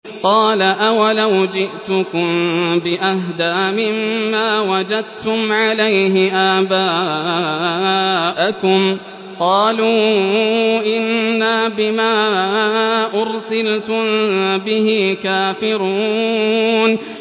۞ قَالَ أَوَلَوْ جِئْتُكُم بِأَهْدَىٰ مِمَّا وَجَدتُّمْ عَلَيْهِ آبَاءَكُمْ ۖ قَالُوا إِنَّا بِمَا أُرْسِلْتُم بِهِ كَافِرُونَ